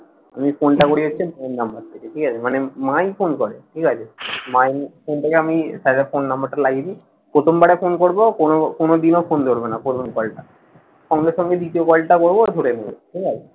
আমি ফোনটা করি হচ্ছে ওর number থেকে, ঠিক আছে? মানে মাই ফোন করে। ঠিক আছে? মাই ফোনটাকে আমি স্যারের ফোন number টা লাগিয়ে দেই, প্রথম বারে ফোন করব। কোনো কোনো দিনও ফোন ধরবে না। পুরোনো দলটা। সঙ্গে সঙ্গে দ্বিতীয় কলটা করব ধরে নেবে। ঠিক আছে?